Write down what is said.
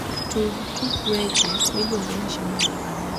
tug tuk weche miluongo ni shamba la wanyama